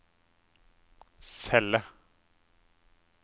celle